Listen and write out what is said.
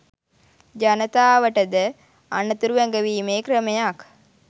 ජනතාවට ද අනතුරු ඇඟවීමේ ක්‍රමයක්